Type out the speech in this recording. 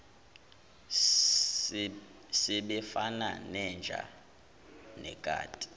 sebefana nenja nekati